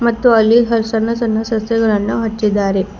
ಮತ್ತು ಅಲ್ಲಿಯೂ ಸಣ್ಣ ಸಣ್ಣ ಸಸ್ಯಗಳನ್ನು ಹಚ್ಚಿದ್ದಾರೆ.